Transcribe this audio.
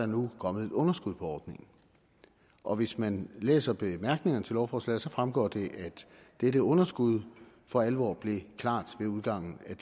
nu er kommet et underskud på ordningen og hvis man læser bemærkningerne til lovforslaget så fremgår det at dette underskud for alvor blev klart ved udgangen af